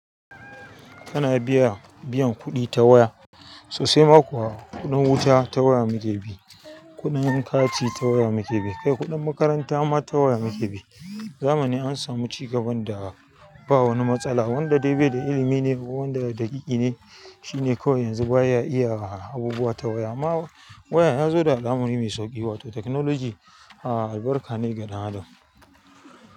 Kana biya biyan kuɗi ta waya sosai ma kuwa kuɗin wuta ta waya muke bi, kuɗin hankaci ta waya muke bi, kai kuɗin makaranta ma ta waya muke bi. Zamani an samu ci gaban da ba wani matsala wanda dai baida ilimi ne ko wanda daɗiƙi ne shine kawai yanzu baya iya abubuwa ta waya. Amma waya yazo da al'amari mai sauƙi wato technology, a albarka ne ga dan adam.